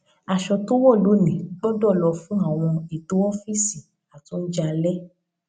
aṣọ tó wò lónìí gbódò lọ fún àwọn ètò ófíìsì àti oúnjẹ alé